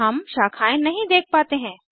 हम शाखाएं नहीं देख पाते हैं